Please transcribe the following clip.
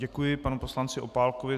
Děkuji panu poslanci Opálkovi.